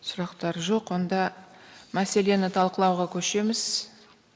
сұрақтар жоқ онда мәселені талқылауға көшеміз